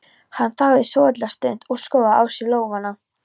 Hann þagði svolitla stund og skoðaði á sér lófana.